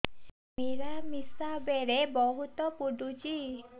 ମିଳାମିଶା ବେଳେ ବହୁତ ପୁଡୁଚି